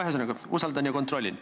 Ühesõnaga, ma usaldan, aga kontrollin.